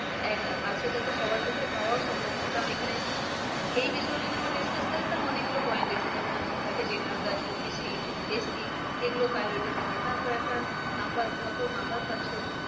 একদম আর সেটা তো সবার পক্ষে পাওয়াও সম্ভব নয় কারণ এখানে এই বিষয়ে যদি আমরা discuss করি তাহলে অনেক গুলো point এসে যাবে যেমন থাকে general caste OBC, ST এগুলো priority থাকে তারপরে একটা numbernumber পাচ্ছো